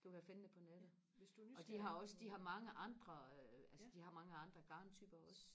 du kan finde det på nettet og de har også de har mange andre altså de har mange andre garntyper også